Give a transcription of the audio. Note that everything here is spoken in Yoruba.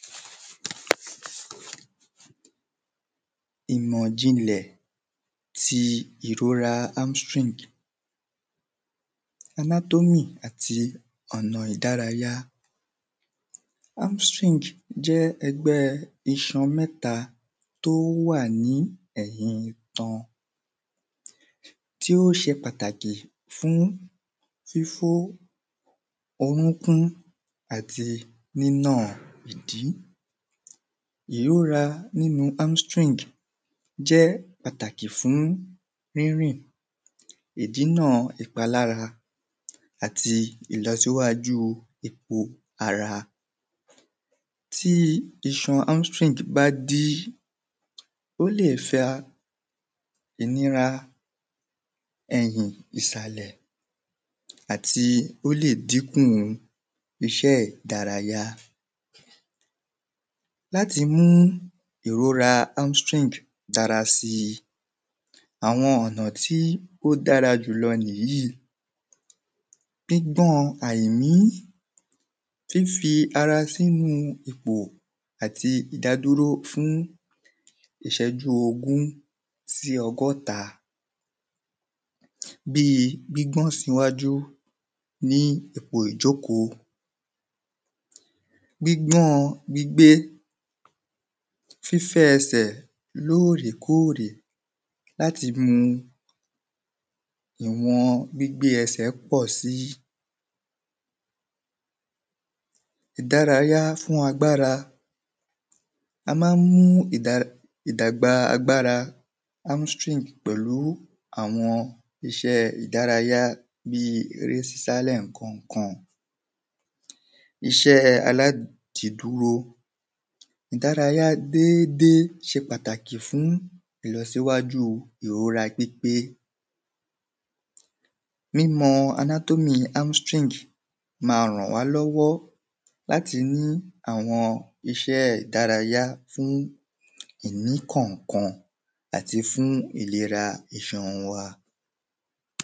Ìmọ̀ ijinle tí ìrora armstring anatomy àti ọ̀nà ìdárayá Armstring jẹ́ ẹgbẹ́ iṣan mẹ́ta tí ó wà ní ẹ̀yìn itan tí ó ṣe pàtàkì fún fifo orúkún àti nínà ìdí Nínú armstring jẹ́ pàtàkì fún rírìn ìdìnà ìpalára àti ìlọsíwájú epo ara Tí iṣan armstring bá dí ó lè fa ìnira ẹyin ìsàlẹ̀ àti ó lè din kù iṣẹ́ ìdárayá Láti mú ìrora armstring dára si àwọn ọ̀nà tí ó dára jùlọ nìyí Gbígbọn àìmí fífi ara sínú ipò àti ìdádúro fún ìṣẹ́jú ogún sí ọgọ́ta bíi gbígbọn ṣíwájú ipò ìjókòó Gbígbọn gbígbé fífẹ ẹsẹ̀ lóòrèkóòrè àti mú ìwọn gbígbé ẹsẹ̀ pọ̀ si Ìdárayá fún agbára A máa ń mú ìdár ìdàgbà agbára armstring pẹ̀lú àwọn iṣẹ́ ìdárayá bíi èrè sísá lẹkọ̀ọ̀kan Iṣẹ́ alá ṣedúró Ìdárayá dédé ṣe pàtàkì fún ìlọsíwájú pípé Mímọ anatomy armstring ma ń rànwálọ́wọ́ láti ní àwọn iṣẹ́ ìdárayá fún ìmí kọ̀ọ̀kan àti fún ìlera iṣan wa